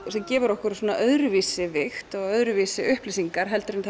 sem gefur okkur öðruvísi vigt og öðruvísi upplýsingar en